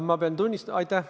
Aitäh!